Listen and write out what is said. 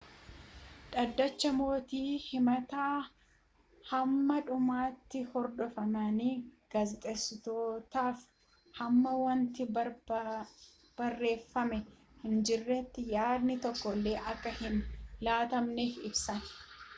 dhaddacha mootii himata hamma dhumaatti hordofameen gaazexessitootaaf hamma wanti barreeffame hinjirreetti yaadni tokkolle akka hin laatamneef ibsan